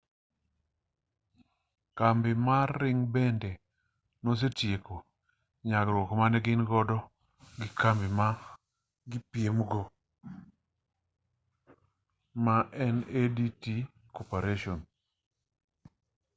kambi mar ring bende nosetieko yuaruok mane gin godo gi kambi ma gipiemgo ma en adt corporation